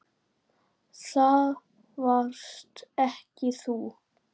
Flakaði og sá um þrif.